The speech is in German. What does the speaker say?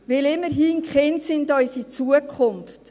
Denn immerhin sind Kinder unsere Zukunft.